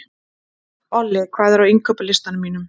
Olli, hvað er á innkaupalistanum mínum?